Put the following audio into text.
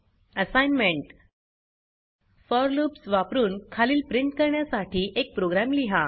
assignment for loops वापरुन खालील print करण्यासाठी एक प्रोग्राम लिहा